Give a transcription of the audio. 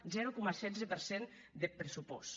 zero coma setze per cent deth pressupòst